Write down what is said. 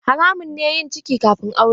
Haramun ne yin ciki kafin aure.